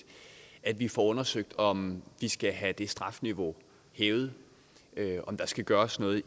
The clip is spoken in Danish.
at vi får undersøgt om vi skal have det strafniveau hævet og om der skal gøres noget